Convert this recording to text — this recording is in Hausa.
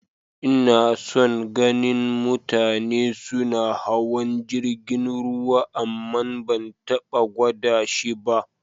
N'na son ganin mutane suna hawan jirigin ruwa amma ban taba gwada shi ba.